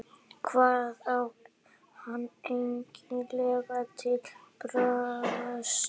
Hvað á hann eiginlega til bragðs að taka?